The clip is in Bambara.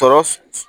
Tɔ